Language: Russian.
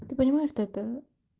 ты понимаешь что это